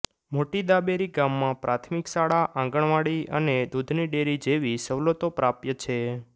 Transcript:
મોટી દાબેરી ગામમાં પ્રાથમિક શાળા આંગણવાડી અને દૂધની ડેરી જેવી સવલતો પ્રાપ્ય છે